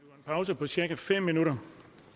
pause på cirka fem minutter